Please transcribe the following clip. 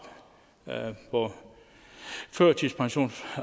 på førtidspensions